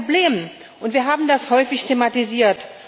Das ist ein Problem, und wir haben das häufig thematisiert.